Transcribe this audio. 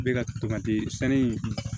Bɛ ka tamate sanu in